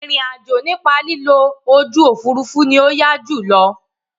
Ìrìn àjò nípa lílo ojú òfurufú ni ó yá jù lọ.